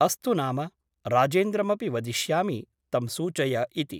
अस्तु नाम । राजेन्द्रमपि वदिष्यामि तं सूचय इति ।